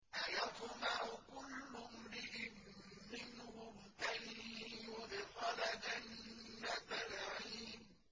أَيَطْمَعُ كُلُّ امْرِئٍ مِّنْهُمْ أَن يُدْخَلَ جَنَّةَ نَعِيمٍ